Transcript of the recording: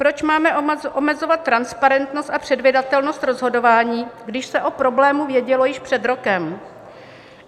Proč máme omezovat transparentnost a předvídatelnost rozhodování, když se o problému vědělo již před rokem?